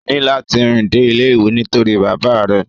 O ni lati rìn dé ilé ìwé nítorí bàbá rẹ̀.